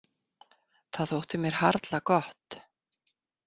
Það þótti mér harla gott.